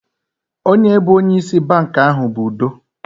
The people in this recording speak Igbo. Onye bụ onye ịsị bankị ahụ bụ Udo